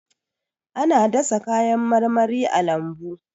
Ana dasa kayan marmari a lambu.